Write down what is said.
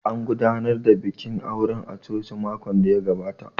An gudanar da bikin auren a coci makon da ya gabata